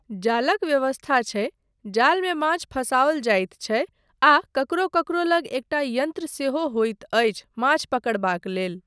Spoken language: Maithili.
जालक व्यवस्था छै, जालमे माछ फसाओल जाइत छै आ ककरो ककरो लग एकटा यन्त्र सेहो होइत अछि माछ पकड़बाक लेल।